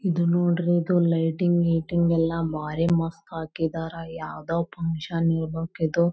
ಇದು ನೋಡ್ರಿ ಇದು ಲೈಟಿಂಗ್ ನಿಟಿಂಗ್ ಎಲ್ಲಾ ಮಾರಿ ಮಸ್ತ್ ಹಾಕಿದರ್ ಯಾವದೋ ಫಕ್ಷನ್ ಇರಬೇಕಿದು.